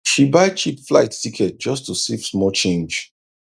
she buy cheap flight ticket just to save small change